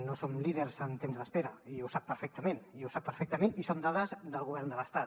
no som líders en temps d’espera i ho sap perfectament i ho sap perfectament i són dades del govern de l’estat